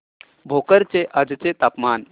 भोकर चे आजचे तापमान